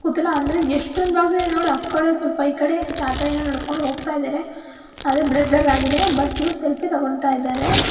ಅಂದ್ರೆ ಎಷ್ಟೊಂದ್ ಬಾಕ್ಸ್ ಇದೆ ನೋಡ್ ಆ ಕಡೆ ಸ್ವಲ್ಪ ಈ ಕಡೆ ತಾತಾ ಏನೋ ನಡ್ಕೊಂಡ್ ಹೋಗ್ತಾ ಇದ್ದಾರೆ ಅದು ಬ್ಲರ್ ಬ್ಲರ್ ಆಗಿದೆ ಬಟ್ ಇವರು ಸೆಲ್ಫಿ ತಗೋಂತಾ ಇದ್ದಾರೆ.